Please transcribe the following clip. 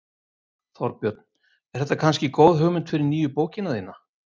Þorbjörn: Er þetta kannski góð hugmynd fyrir nýju bókina þína?